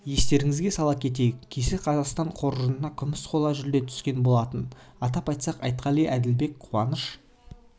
естеріңізге сала кетейік кеше қазақстан қоржынында күміс қола жүлде түскен болатын атап айтсақ айтқали әділбек қуаныш